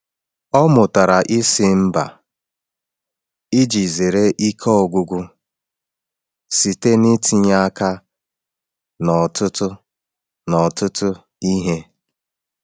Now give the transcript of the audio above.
Ọ mụtara ịsị mba iji zere ike ọgwụgwụ site n’itinye aka n’ọtụtụ n’ọtụtụ ihe.